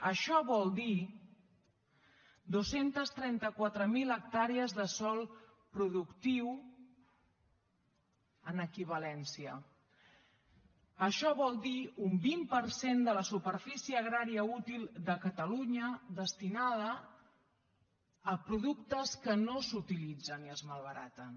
això vol dir dos cents i trenta quatre mil hectàrees de sòl productiu en equivalència això vol dir un vint per cent de la superfície agrària útil de catalunya destinada a productes que no s’utilitzen i es malbaraten